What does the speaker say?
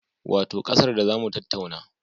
Wato ƙasar da za mu tattauna